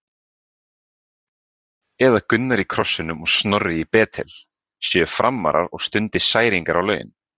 Eða Gunnar í Krossinum og Snorri í Betel séu Framarar og stundi særingar á laun?